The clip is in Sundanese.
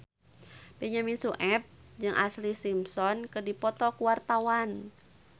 Benyamin Sueb jeung Ashlee Simpson keur dipoto ku wartawan